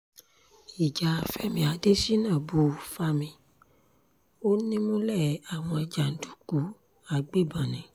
ìjà fẹmi adésínà bu fámí ó nímùlẹ̀ àwọn jàǹdùkú agbébọ̀n ni